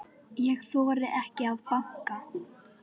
Ég þori ekki að banka.